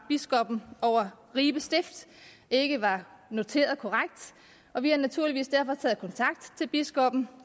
biskoppen over ribe stift ikke var noteret korrekt og vi har naturligvis derfor taget kontakt til biskoppen